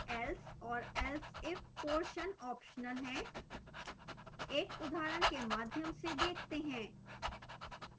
else और elseif portions optional है एक उदाहरण के माध्यन से देखते हैं